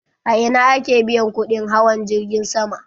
A ina ake biyan kuɗin hawan jirgin sama?